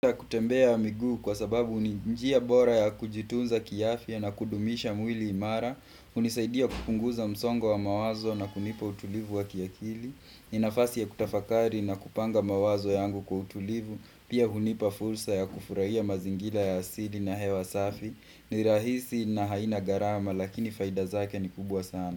Kutembea miguu kwa sababu ni njia bora ya kujitunza kiafya na kudumisha mwili imara unisaidia kupunguza msongo wa mawazo na kunipa utulivu wa kiakili ni nafasi ya kutafakari na kupanga mawazo yangu kwa utulivu Pia hunipa fursa ya kufurahia mazingira ya asili na hewa safi ni rahisi na haina gharama lakini faida zake ni kubwa sana.